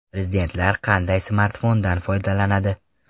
Prezidentlar qanday smartfondan foydalanadi?.